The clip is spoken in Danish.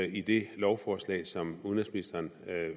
i det lovforslag som udenrigsministeren